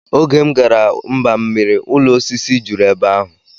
Oge m gara mbammiri ụlọ osisi juru ebe ahụ